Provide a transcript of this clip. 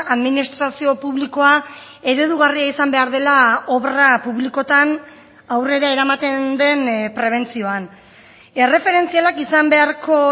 administrazio publikoa eredugarria izan behar dela obra publikoetan aurrera eramaten den prebentzioan erreferentzialak izan beharko